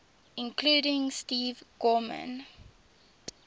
including steve gorman